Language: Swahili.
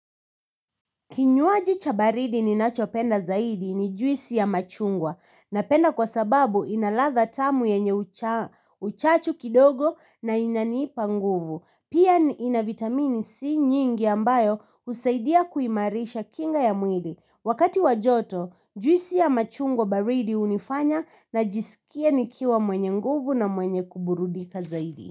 Kinywaji cha baridi ninacho penda zaidi ni juisi ya machungwa na penda kwa sababu inaladha tamu yenye uchachu kidogo na inaniipa nguvu. Pia ina vitamini C nyingi ambayo usaidia kuimarisha kinga ya mwili. Wakati wajoto juisi ya machungwa baridi unifanya na jisikia nikiwa mwenye nguvu na mwenye kuburudika zaidi.